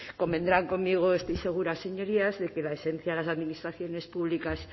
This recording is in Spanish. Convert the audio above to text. convendrán conmigo estoy segura señorías de que la esencia de las administraciones públicas